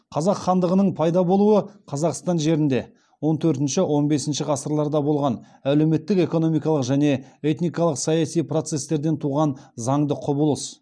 қазақ хандығының пайда болуы қазақстан жерінде он төртінші он бесінші ғасырларда болған әлеуметтік экономикалық және этникалық саяси процестерден туған заңды құбылыс